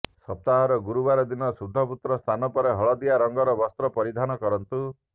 ସପ୍ତାହର ଗୁରୁବାର ଦିନ ଶୁଦ୍ଧପୁତ ସ୍ନାନ ପରେ ହଳଦିଆ ରଙ୍ଗର ବସ୍ତ୍ର ପରିଧାନ କରନ୍ତୁ